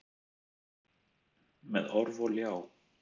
Með orf og ljá.